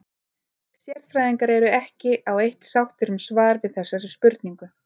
Sérfræðingar eru ekki á eitt sáttir um svar við þessari spurningu.